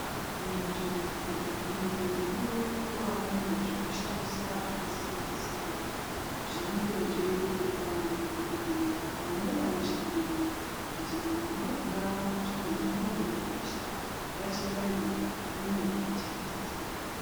Muzvibhedhlera medu munovanikwa mune zvekushandisa zvakasiyana-siyana, zvinenge zveireketwa ngemadogodheya kana nevanoshandemwo. Kuti kana mwaona tsvina dzamunode kurasha rashirai umwu ndimwo makachengetedzeka.